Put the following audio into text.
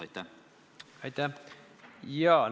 Aitäh!